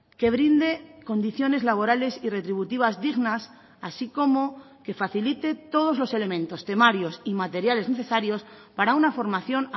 que brinde condiciones laborales y retributivas dignas así como que facilite todos los elementos temarios y materiales necesarios para una formación